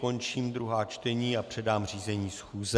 Končím druhá čtení a předám řízení schůze.